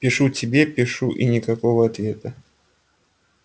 пишу тебе пишу и никакого ответа